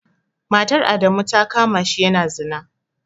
Matar Adamu ta kama shi yana zina.